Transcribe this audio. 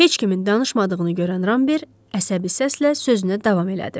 Heç kimin danışmadığını görən Rambert əsəbi səslə sözünə davam elədi.